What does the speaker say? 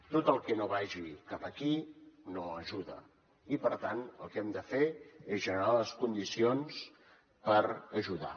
tot el que no vagi cap aquí no ajuda i per tant el que hem de fer és generar les condicions per ajudar